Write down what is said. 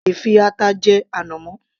O lè fi ata jẹ ànàmọ́